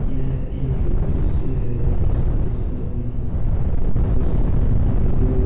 यह एक दृश्य है। इस दृश्य में हमारे सामने एक दूध --